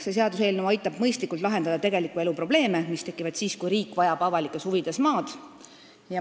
See seaduseelnõu aitab mõistlikult lahendada tegeliku elu probleeme, mis tekivad siis, kui riik vajab avalikes huvides maad.